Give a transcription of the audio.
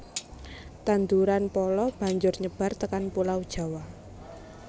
Tanduran pala banjur nyebar tekan pulau Jawa